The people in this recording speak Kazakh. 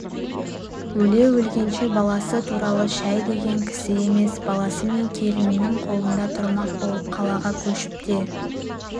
өле-өлгенше баласы туралы шәй деген кісі емес баласы мен келінінің қолында тұрмақ болып қалаға көшіп те